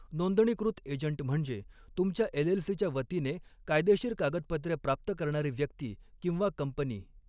नोंदणीकृत एजंट म्हणजे तुमच्या एलएलसीच्या वतीने कायदेशीर कागदपत्रे प्राप्त करणारी व्यक्ती किंवा कंपनी.